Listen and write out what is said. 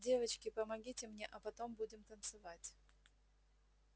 девочки помогите мне а потом будем танцевать